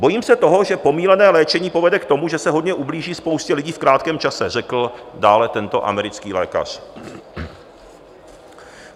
"Bojím se toho, že pomýlené léčení povede k tomu, že se hodně ublíží spoustě lidí v krátkém čase," řekl dále tento americký lékař.